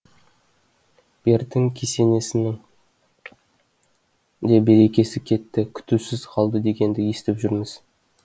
бертін кесенесінің де берекесі кетті күтусіз қалды дегенді естіп жүрміз